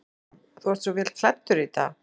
Hugrún: Þú ert svo vel klæddur í dag?